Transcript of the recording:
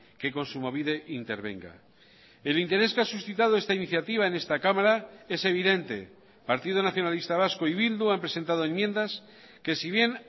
que kontsumobide intervenga el interés que ha suscitado esta iniciativa en esta cámara es evidente partido nacionalista vasco y bildu han presentado enmiendas que si bien